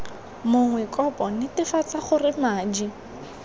mongwe kopo netefatsa gore madi